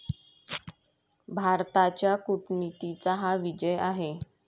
भारताच्या कूटनीतीचा हा विजय आहे.